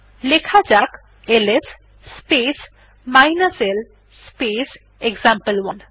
লেখা যাক ls space l space example one